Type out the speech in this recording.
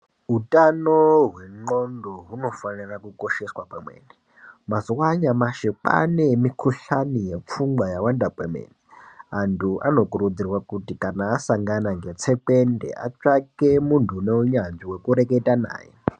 Utano hwendxondo hunofanira kukosheswa kwemene. Mazuva anyamashi kwanemikuhlani yepfungwa yawanda kwemene. Antu anokurudzirwa kuti kana asangana netsekwende atsvake muntu uneunyanzvi wekureketa naye.